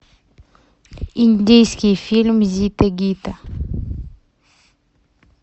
индийский фильм зита и гита